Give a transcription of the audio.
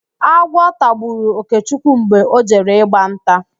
Agwọ tagburu Okechukwu mgbe ọ jere ịgba nta